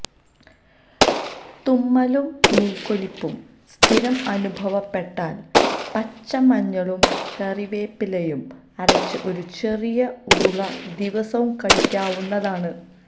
തുമ്മലും മൂക്കൊലിപ്പും സ്ഥിരം അനുഭവപ്പെട്ടാല് പച്ചമഞ്ഞളും കറിവേപ്പിലയും അരച്ച് ഒരു ചെറിയ ഉരുള ദിവസവും കഴിക്കാവുന്നതാണ്